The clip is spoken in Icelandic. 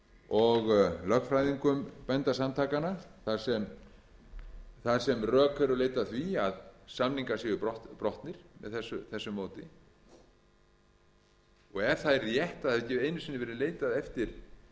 og lögfræðingum bændasamtakanna þar sem rök eru leidd að því að samningar séu brotnir með þessu móti ef það er rétt að það hafi ekki einu sinni verið leitað eftir